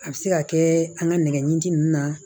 A bɛ se ka kɛ an ka nɛgɛ ɲinini ninnu na